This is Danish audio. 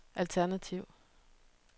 alternativ